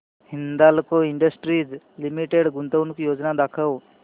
Hindalco industries limited गुंतवणूक योजना दाखव